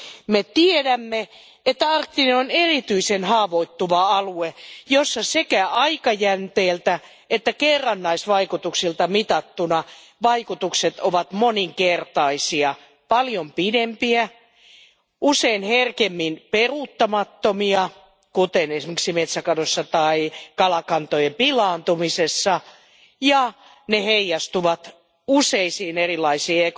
Me tiedämme, että arktinen alue on erityisen haavoittuva alue, jossa sekä aikajänteeltä että kerrannaisvaikutuksilta mitattuna vaikutukset ovat moninkertaisia paljon pidempiä, usein herkemmin peruuttamattomia, kuten esimerkiksi metsäkadossa tai kalakantojen pilaantumisessa, ja ne heijastuvat useisiin erilaisiin